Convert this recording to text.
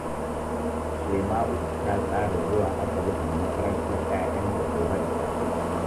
Shema’au ta tsara zuwa asibiti da makarantar ‘ya’yanta gobe da safe